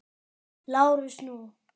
LÁRUS: Nú?